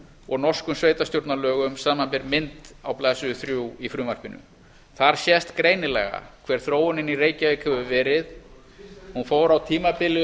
og norskum sveitarstjórnarlögum samanber mynd á blaðsíðu þrjú í frumvarpinu þar sést greinilega hver þróun í reykjavík hefur verið hún fór á tímabili upp